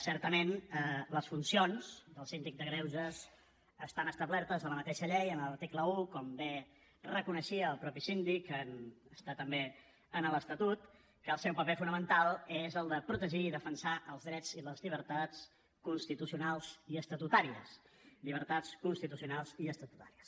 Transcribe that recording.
certament les funcions del síndic de greuges estan establertes a la mateixa llei en l’article un com bé reconeixia el mateix síndic està també a l’estatut que el seu paper fonamental és el de protegir i defensar els drets i les llibertats constitucionals i estatutàries llibertats constitucionals i estatutàries